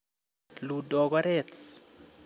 Ludogorets.